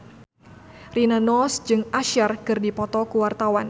Rina Nose jeung Usher keur dipoto ku wartawan